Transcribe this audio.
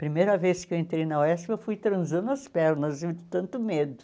Primeira vez que eu entrei na UESP, eu fui transando as pernas, de tanto medo.